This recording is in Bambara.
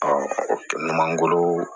o kɛ mangoro